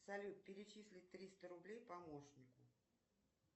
салют перечислить триста рублей помощнику